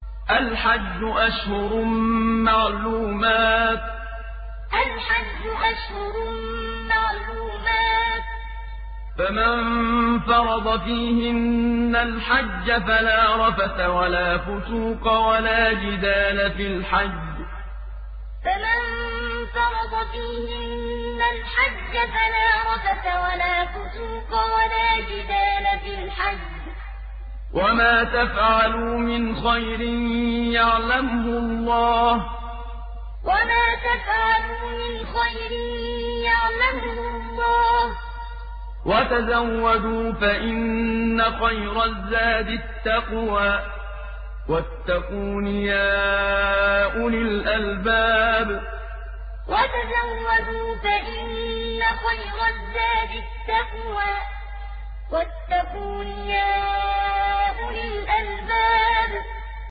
الْحَجُّ أَشْهُرٌ مَّعْلُومَاتٌ ۚ فَمَن فَرَضَ فِيهِنَّ الْحَجَّ فَلَا رَفَثَ وَلَا فُسُوقَ وَلَا جِدَالَ فِي الْحَجِّ ۗ وَمَا تَفْعَلُوا مِنْ خَيْرٍ يَعْلَمْهُ اللَّهُ ۗ وَتَزَوَّدُوا فَإِنَّ خَيْرَ الزَّادِ التَّقْوَىٰ ۚ وَاتَّقُونِ يَا أُولِي الْأَلْبَابِ الْحَجُّ أَشْهُرٌ مَّعْلُومَاتٌ ۚ فَمَن فَرَضَ فِيهِنَّ الْحَجَّ فَلَا رَفَثَ وَلَا فُسُوقَ وَلَا جِدَالَ فِي الْحَجِّ ۗ وَمَا تَفْعَلُوا مِنْ خَيْرٍ يَعْلَمْهُ اللَّهُ ۗ وَتَزَوَّدُوا فَإِنَّ خَيْرَ الزَّادِ التَّقْوَىٰ ۚ وَاتَّقُونِ يَا أُولِي الْأَلْبَابِ